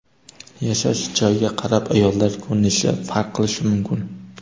Yashash joyiga qarab ayollar ko‘rinishi farq qilishi mumkin.